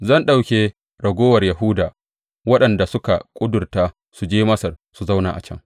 Zan ɗauke raguwar Yahuda waɗanda suka ƙudurta su je Masar su zauna a can.